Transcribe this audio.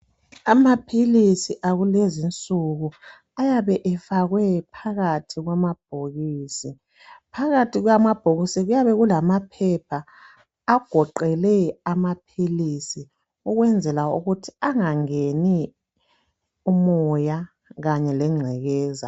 Amaphilisi akulezi nsuku ayabe efakwe phakathi kwamabhokisi phakathi kwamabhokisi kuyabe lulamaphepha agoqele amaphilisi ukwenzela ukuthi angangeni umoya kanye legcekeza.